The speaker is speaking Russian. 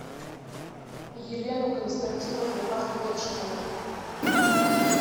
елену константиновну ахметшину